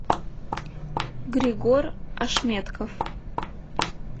григор ашметков